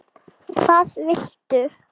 hvað viltu?